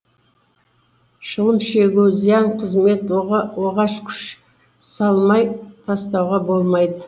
шылым шегу зиян қызмет оған күш салмай тастауға болмайды